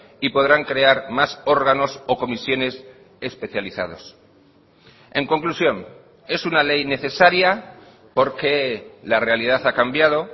y podrán crear más órganos o comisiones especializados en conclusión es una ley necesaria porque la realidad ha cambiado